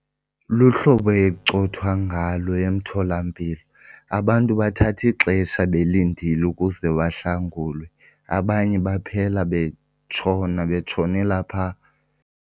Luhlobo ekucothwa ngalo emtholampilo. Abantu bathatha ixesha belindile ukuze bahlangulwe, abanye baphela betshona betshonela phaa.